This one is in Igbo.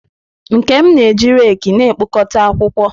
Nkem na-eji raki na-ekpokọta akwụkwọ.